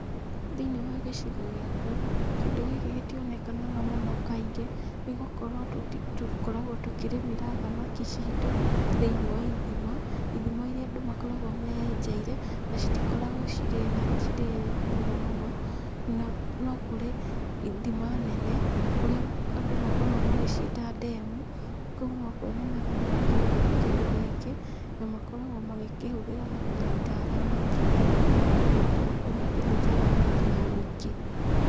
Thĩinĩ wa gĩcigo gĩakwa, kĩndũ gĩkĩ gĩtionekanaga mũno kaingĩ, nĩ gũkorwo tũkoragwo tũkĩrĩmĩra thamaki citũ thĩinĩ wa ithima, ithima iria andũ makoragwo meyenjeire, na citikoragwo cirĩ nene cirĩ nene mũno, na no kũrĩ ithima nene, kũrĩa andũ makoragwo magĩciĩta ndemu, kũu nokuo nyonaga andũ makĩhũthĩra kĩndũ gĩkĩ, na makoragwo magĩkĩhũthĩra na kũnyita thamaki, nĩgetha mahote gũkorwo makĩnyita thamaki na ũingĩ.